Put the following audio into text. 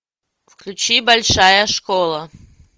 включи большая школа